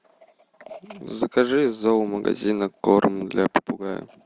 закажи из зоомагазина корм для попугая